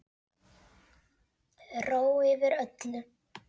Ró yfir öllu.